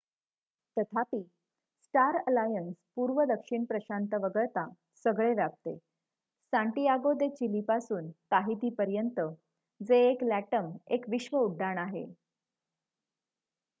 तथापि Star Alliance पूर्व दक्षिण प्रशांत वगळता सगळे व्यापते सांटियागो दे चिली पासून ताहिती पर्यंत जे एक लॅटम एक विश्व उड्डाण आहे